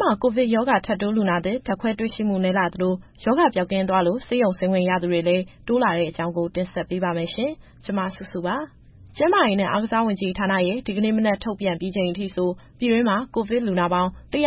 မှာ ကိုဗစ်ရောဂါ ထပ်တိုးလူနာသစ် ဓါတ်ခွဲ တွေ့ရှိမှု နည်းလာသလို၊ ရောဂါပိုးပျောက်ကင်းသွားလို့ ဆေးရုံဆင်းခွင့်ရသူတွေလည်း တိုးလာတဲ့အကြောင်းကို ဗွီအိုအေမြန်မာပိုင်းသတင်းထောက် မစုစုက တင်ဆက်ပေးပါမယ်။ ကျန်းမာရေးနဲ့ အားကစားဝန်ကြီးဌာနရဲ့ ဒီကနေ့မနက်ထုတ်ပြန်ပြီးချိန်အထိဆို ပြည်တွင်းမှာ ကိုဗစ်လူနာပေါင်း ၁၅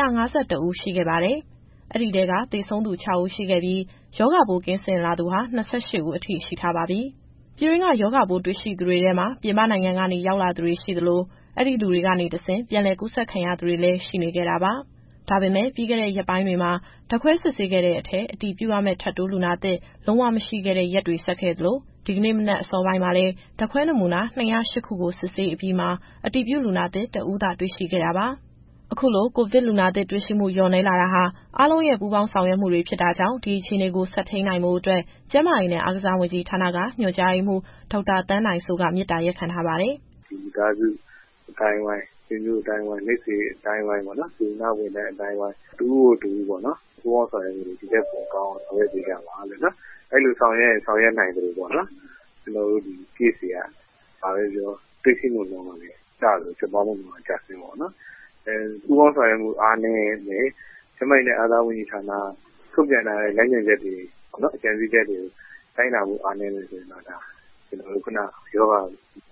၁ ဦး ရှိခဲ့ပါတယ်။ အဲဒီထဲက သေဆုံးသူ ၆ ဦး ရှိခဲ့ပြီး၊ ရောဂါပိုးကင်းစင်လာသူဟာ ၂၈ ဦးအထိ ရှိထားပါပြီ။ ပြည်တွင်းက ရောဂါပိုးတွေ့ရှိသူတွေထဲမှာ ပြည်ပနိုင်ငံကနေရောက်ရှိလာသူတွေရှိသလို၊ အဲဒီလူတွေကနေတဆင့် ပြန်လည်ကူးစက်ခံရသူတွေလည်း ရှိနေခဲ့တာပါ။ ဒါပေမဲ့ ပြီးခဲ့တဲ့ရက်ပိုင်းတွေမှာ ဓာတ်ခွဲစစ်ဆေးခဲ့တဲ့အထဲ အတည်ပြုရမယ့် ထပ်တိုးလူနာသစ် လုံးဝ မရှိခဲ့တဲ့ ရက်တွေဆက်ခဲ့သလို ဒီကနေ့မနက်အစောပိုင်းမှာလည်း ဓာတ်ခွဲနမူနာ ၂၀၈ ခုကို စစ်ဆေးအပြီးမှာ အတည်ပြုလူနာသစ် ၁ ဦးကိုသာ တွေ့ရှိခဲ့တာပါ။ အခုလို ကိုဗစ်လူနာသစ်တွေ့ရှိမှု လျော့နည်းလာတာဟာ အားလုံးရဲ့ ပူးပေါင်းဆောင်ရွက်မှုတွေ ဖြစ်တာကြောင့် ဒီအခြေအနေကို ဆက်ထိန်းနိုင်ဖို့အတွက် ကျန်းမာရေးနဲ့ အားကစားဝန်ကြီးဌာနက ညွှန်ကြားရေးမှူး ဒေါက်တာသန်းနိုင်စိုးက မေတ္တာရပ်ခံထားပါတယ်။ “မိသားစုအသိုင်းအဝိုင်း၊ ဆွေမျိုးအသိုင်းအဝိုင်း၊ မိတ်ဆွေအသိုင်းအဝိုင်း၊ စေတနာ့ဝန်ထမ်းအသိုင်းအဝိုင်း၊ တဦးကို တဦးပေါ့နော်… ပူးပေါင်းဆောင်ရွက်မှုတွေ ဒီထက်ပိုကောင်းအောင် ဆောင်ရွက်ပေးကြပါ။ အဲလိုဆောင်ရွက်ရင် ဆောင်ရွက်နိုင်သလိုပေါ့နော်၊ ကျနော်တို့ ဒီ Case တွေက တွေ့ရှိမှုနှုန်းက ကျသလို၊ ဖြစ်ပွားမှုနှုန်းလည်း ကျဆင်းမှာပေါ့နော်။ ပူးပေါင်းဆောင်ရွက်မှု အားနည်းမယ်၊ ကျန်းမာရေးနဲ့ အားကစားဝန်ကြီးဌာနက ထုတ်ပြန်ထားတဲ့ လမ်းညွှန်ချက်တွေကိုလည်း လိုက်နာမှု အားနည်းမယ်ဆိုရင်တော့ ရောဂါ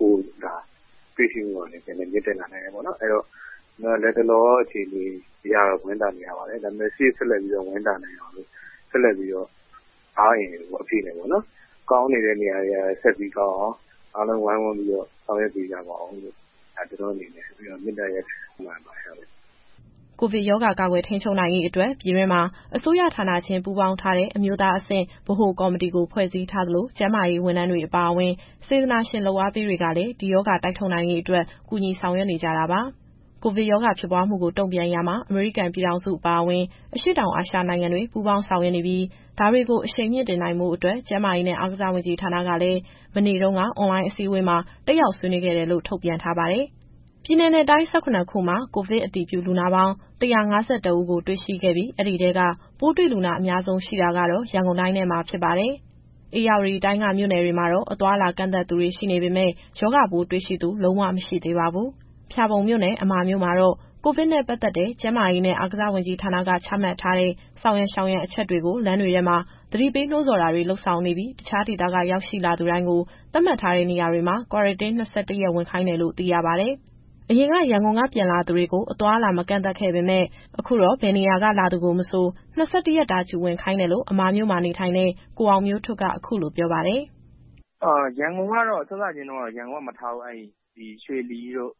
ပိုးတွေ့ရှိမှုကလည်း ပြန်လည်မြင့်တက်လာနိုင်တယ်ပေါ့နော်။ အဲဒီတော့ လတ်တလောအခြေအနေအရတော့ ဝမ်းသာနေရပါတယ်။ ဒါပေမဲ့ ရှေ့ဆက်ပြီးဝမ်းသာနိုင်အောင်လို့ ဆက်လက်ပြီး အားအင်အပြည့်နဲ့ ကောင်းနေတဲ့နေရာတွေ ဆက်ပြီးကောင်းအောင် အားလုံးဝိုင်းဝန်းပြီးတော့ ဆောင်ရွက်ပေးကြပါဦးလို့ မေတ္တာရပ်ခံအပ်ပါတယ်။” ကိုဗစ်ရောဂါကာကွယ် ထိန်းချုပ်နိုင်ရေးအတွက် ပြည်တွင်းမှာ အစိုးရဌာနချင်း ပူးပေါင်းထားတဲ့ အမျိုးသားအဆင့် ဗဟိုကော်မတီကို ဖွဲ့စည်းထားသလို၊ ကျန်းမာရေးဝန်ထမ်းတွေအပါအဝင်၊ စေတနာရှင်လုပ်အားပေးတွေကလည်း ဒီရောဂါတိုက်ထုတ်နိုင်ရေးအတွက် ကူညီဆောင်ရွက်နေကြတာပါ။ ကိုဗစ်ရောဂါ ဖြစ်ပွားမှုကို တုံ့ပြန်ရာမှာ အမေရိကန်ပြည်ထောင်စုအပါအဝင် အရှေ့တောင်အာရှနိုင်ငံတွေ ပူးပေါင်းဆောင်ရွက်နေပြီး ဒါတွေကို အရှိန်မြှင့်တင်နိုင်ဖို့အတွက် ကျန်းမာရေးနဲ့အားကစားဝန်ကြီးဌာနကလည်း မနေ့တုန်းက အွန်လိုင်းအစည်းအဝေးမှာ တက်ရောက်ဆွေးနွေးခဲ့တယ်လို့ ထုတ်ပြန်ထားပါတယ်။ ပြည်နယ်နဲ့တိုင်း ၁၇ ခုမှာ ကိုဗစ်အတည်ပြုလူနာပေါင်း ၁၅၁ ဦးကိုတွေ့ရှိခဲ့ပြီး အဲဒီထဲက ပိုးတွေ့လူနာအများဆုံး ရှိတာကတော့ ရန်ကုန်တိုင်းထဲမှာ ဖြစ်ပါတယ်။ ဧရာဝတီတိုင်းက မြို့နယ်တွေမှာတော့ အသွားအလာကန့်သတ်ထားသူတွေ ရှိနေပေမဲ့ ရောဂါပိုးတွေ့ရှိသူ လုံးဝ မရှိသေးပါဘူး။ ဖျာပုံမြို့နယ်၊ အမာမြို့မှာတော့ ကိုဗစ်နဲ့ပတ်သက်တဲ့ ကျန်းမာရေးနဲ့ အားကစားဝန်ကြီးဌာနက ချမှတ်ထားတဲ့ ဆောင်ရန်ရှောင်ရန်အချက်တွေကို လမ်းတွေထဲမှာ သတိပေးနှိုးဆော်တာတွေလုပ်ဆောင်နေပြီး တခြားဒေသက ရောက်လာသူတိုင်းကို သတ်မှတ်ထားတဲ့နေရာတွေမှာ Quarantine ၂၁ ရက်ဝင်ခိုင်းတယ်လို့ သိရပါတယ်။ အရင်ကရန်ကုန်ကနေ ပြန်လာသူတွေကို အသွားအလာ မကန့်သတ်ခဲ့ပေမဲ့ အခုတော့ ဘယ်နေရာက လာသူကိုမဆို ၂၁ ရက်တာ Q ဝင်ခိုင်းတယ်လို့ အမာမြို့မှာ နေထိုင်တဲ့ ကိုအောင်မျိုးထွဋ်က အခုလိုပြောပါတယ်။ “စစချင်းတုန်းကတော့ ရန်ကုန်က ပြန်လာသူတွေကို မထားဘူး။ ရွှေလီတို့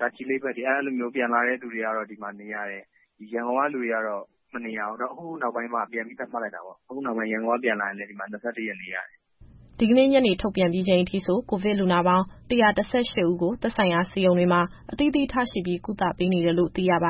တာချီလိတ်ဘက်တို့ကနေ ပြန်လာသူတွေကိုတော့ ဒီမှာ Q ဝင်ရတယ်။ ရန်ကုန်က လူတွေကတော့ မနေရဘူး။ ဒါပေမဲ့ အခုနောက်ပိုင်းတော့ ရန်ကုန်က ပြန်လာသူတွေလည်း ၂၁ ရက်နေရတယ်။” ဒီကနေ့ညနေထုတ်ပြန်ပြီးချိန်အထိ ကိုဗစ်လူနာပေါင်း ၁၁၈ ဦးကို သက်ဆိုင်ရာဆေးရုံတွေမှာ အသီးသီးထားရှိပြီး ကုသပေးနေတယ်လို့ သိရပါ